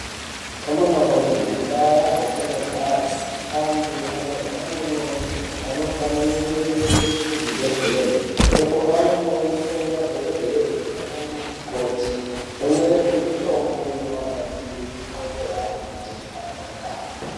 Amunawee mundaa dzatinogare antu anorwara nendxondo anofanire kuendeswe kuzvibhedhlere uko anonoonekwe nemadhokodheye pamweni nemikoti. Vonyorerwe mitombo inovabatsire kuti ndxondo yavo iite zvakanaka.